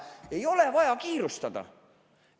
Ei ole vaja kiirustada!